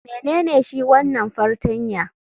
Menene shi wanan fartanya?